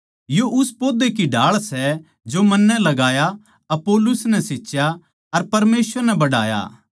यो उस पौधे की ढाळ सै जो मन्नै लगाया अपुल्लोस नै सींचा अर परमेसवर नै बढ़ाया